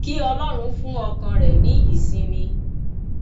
kí ọlọrun fún ọkàn rẹ ní ìsinmi